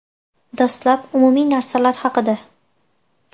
Dastlab, umumiy narsalar haqida.